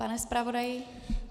Pane zpravodaji?